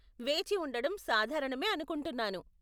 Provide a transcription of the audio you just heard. వేచి ఉండడం సాధారణమే అనుకుంటున్నాను .